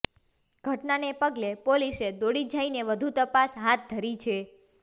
ઘટનાને પગલે પોલીસે દોડી જઈને વધુ તપાસ હાથ ધરી છે